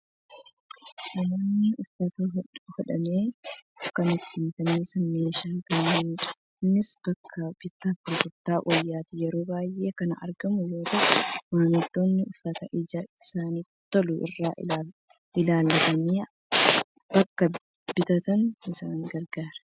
Namoonni uffata hodhame kan ittiin fannisan meeshaa kanaanidha. Innis bakka bittaa fi gurgurtaa wayyaatti yeroo baay'ee kan argamu yoo ta'u, maamiltoonni uffata ija isaaniitti tolu irraa ilaallatanii akka bitataniif isaan gargaara.